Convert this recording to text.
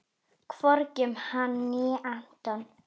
Hvorki um hana né Anton.